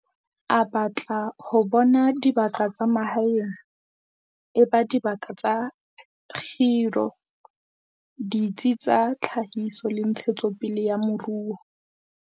A batla ho bona dibaka tsa mahaeng e ba dibaka tsa kgiro, ditsi tsa tlhahiso le ntshetso pele ya moruo.